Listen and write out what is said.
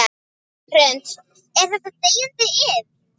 Hrund: Er þetta deyjandi iðn?